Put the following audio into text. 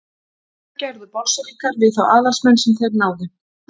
Hvað gerðu Bolsévikar við þá aðalsmenn sem þeir náðu?